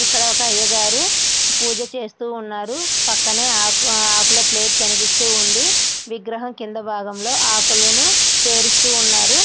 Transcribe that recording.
ఇక్కడ ఒక అయ్యగారు పూజ చేస్తూ ఉన్నారు. పక్కనే ఆకుల ప్లేటు కనిపిస్తూ ఉంది. విగ్రహము కింది భాగంలో ఆకులని పేరుస్తూ ఉన్నారు.